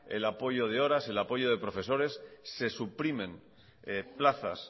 el apoyo de horas el apoyo de profesores se suprimen plazas